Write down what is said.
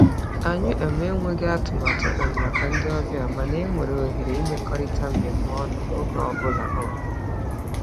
Anyị um emeghị atụmatụ um maka ndị obịa, mana e nwere ohere imekọrịta mmemme ọnụ oge ọbụla. um